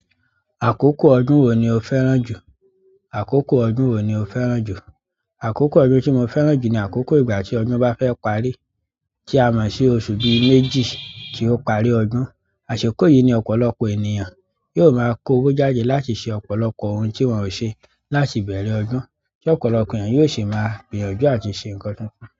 Àkókò ọdún wo ni o fẹ́ràn jù? Àkókò ọdún wo ni o fẹ́ràn jù? Àkókò ọdún ti mo fẹ́ràn ju ni àkókò ìgbà ti ọdún bá fẹ́ parí ti a mọsi bi oṣù méjì ti o parí ọdún. Àsìkò yìí ni ọ̀pọ̀lọpọ̀ ènìyàn yóò máa kowo jáde láti ṣe ọ̀pọ̀lọpọ̀ ohun tí wọ́n ò ṣe láti ibẹ̀rẹ̀ ọdún, tí ọ̀pọ̀lọpọ̀ ènìyàn yóò sì máa gbìyànjú àti ṣe ńkan tuntun.